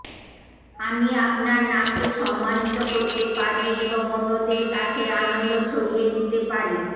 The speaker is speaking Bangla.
আমি আপনার নামকে সম্মানিত করতে পারি এবং অন্যদের কাছে আনন্দ ছড়িয়ে দিতে পারি